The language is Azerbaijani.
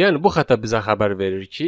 Yəni bu xəta bizə xəbər verir ki,